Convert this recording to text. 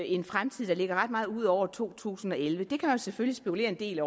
en fremtid der ligger ret meget ud over to tusind og elleve det kan man selvfølgelig spekulere en del